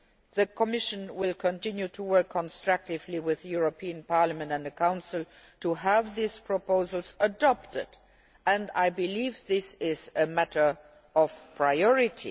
The Commission will continue to work constructively with the European Parliament and the Council to have these proposals adopted. I believe this is a matter of priority.